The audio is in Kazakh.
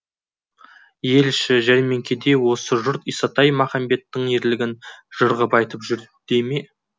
ел іші жәрмеңкеде осы жұрт исатай махамбеттің ерлігін жыр ғып айтып жүр дей ме